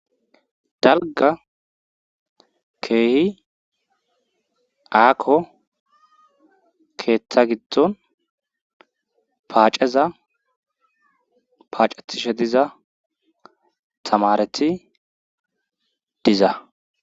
dalga keehi aako keeththa giddon paaceza paacetishe diza tamareti diza